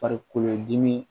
Farikolodimi